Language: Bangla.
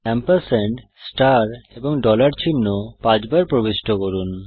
এম্পরস্যান্ড ষ্টার এবং ডলার চিহ্ন পাঁচবার প্রবিষ্ট করুন